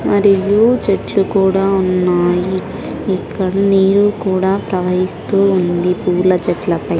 మరియు చెట్లు కూడా ఉన్నాయి ఇక్కడ నీళ్లు కూడా ప్రవహిస్తూ ఉంది పూల చెట్ల పై.